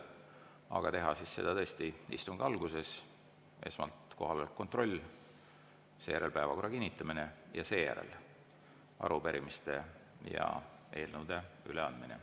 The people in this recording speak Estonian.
Aga teha siis seda tõesti istungi alguses, et esmalt kohaloleku kontroll, seejärel päevakorra kinnitamine ja seejärel arupärimiste ja eelnõude üleandmine.